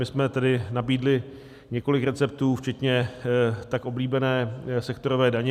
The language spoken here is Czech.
My jsme tedy nabídli několik receptů včetně tak oblíbené sektorové daně.